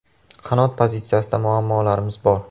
Qanot pozitsiyasida muammolarimiz bor.